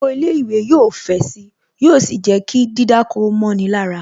Oko ilé ìwé yóò fẹ̀ sì. Yóò sì jẹ́ kí dídáko mọ́ni lára